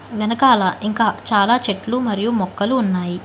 వెనకాల ఇంకా చాలా చెట్లు మరియు మొక్కలు ఉన్నాయి.